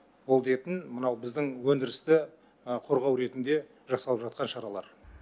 ол дейтін мынау біздің өндірісті қолдау ретінде жасалып жатқан шаралар